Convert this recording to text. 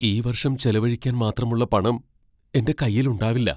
ഈ വർഷം ചെലവഴിക്കാൻ മാത്രമുള്ള പണം എന്റെ കൈയിൽ ഉണ്ടാവില്ല.